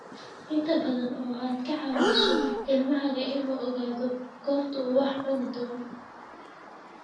Inta badan oo aad ka caawiso ilmahaaga inuu ogaado goorta uu wax cuni doono